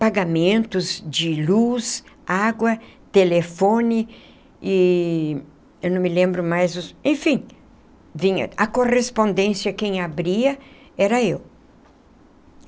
pagamentos de luz, água, telefone... e... eu não me lembro mais... enfim... vinha... a correspondência... quem abria... era eu.